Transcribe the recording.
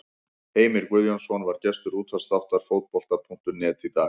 Heimir Guðjónsson var gestur útvarpsþáttar Fótbolta.net í dag.